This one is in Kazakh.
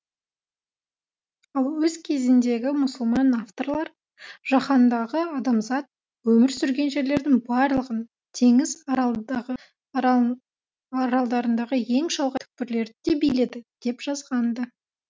ал өз кезіндегі мұсылман авторлар жаһандағы адамзат өмір сүрген жерлердің барлығын теңіз аралындағы аралын аралдарындағы ең шалғай түкпірлерді де биледі деп жазған ды